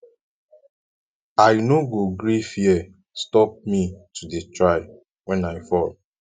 i no go gree fear stop me to dey try wen i fall